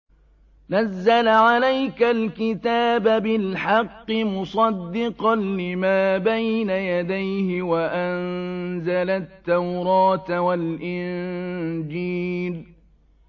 نَزَّلَ عَلَيْكَ الْكِتَابَ بِالْحَقِّ مُصَدِّقًا لِّمَا بَيْنَ يَدَيْهِ وَأَنزَلَ التَّوْرَاةَ وَالْإِنجِيلَ